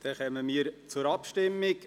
Wir kommen zur Abstimmung.